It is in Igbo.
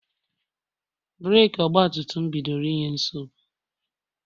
breeki Ọgbatumtum mụ bidoro inye nsogbu..